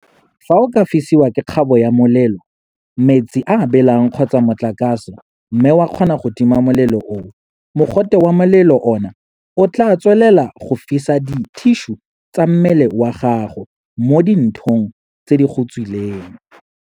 Fa o ka fisiwa ke kgabo ya molelo, metsi a a belang kgotsa motlakase mme wa kgona go tima molelo oo, mogote wa molelo ona o tla tswelela go fisa dithišu tsa mmele wa gago mo di nthong tse di go tswileng.